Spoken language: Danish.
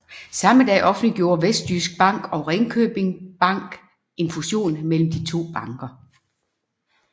Samme dag offentliggjorde Vestjysk Bank og Ringkjøbing Bank en fusion mellem de to banker